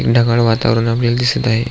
ढगाळ वातावरण आपल्याला दिसत आहे.